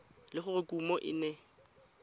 le gore kumo e ne